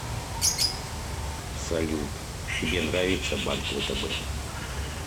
салют тебе нравится банк втб